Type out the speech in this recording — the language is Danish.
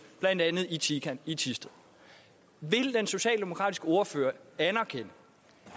blandt andet i tican i thisted vil den socialdemokratiske ordfører anerkende